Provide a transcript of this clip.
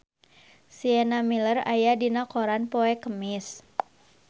Sienna Miller aya dina koran poe Kemis